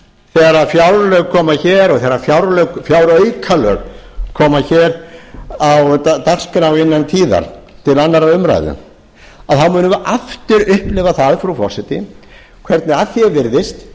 haust þegar fjárlög koma hér og þegar fjáraukalög koma hér á dagskrá innan tíðar til annarrar umræðu þá munum við aftur upplifa það frú forseti hvernig að því er virðist